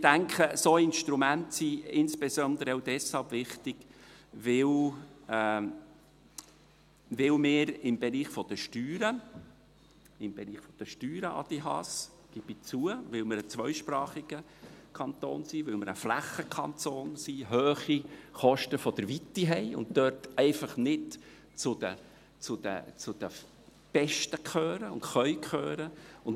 Ich denke, solche Instrumente sind insbesondere auch deshalb wichtig, weil wir im Bereich der Steuern – Adrian Haas, das gebe ich zu, weil wir ein zweisprachiger Kanton sind, weil wir ein Flächenkanton sind – hohe Kosten der Weite haben und dort einfach nicht zu den Besten gehören und gehören können.